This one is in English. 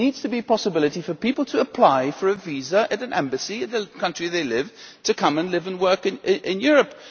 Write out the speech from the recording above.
There needs to be a possibility for people to apply for a visa, at an embassy in the country where they live, to come and live and work in Europe.